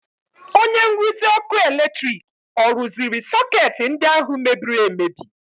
Onye nruzi ọkụ eletrik ọ rụziri sọkeetị ndị ahụ mebiri emebi?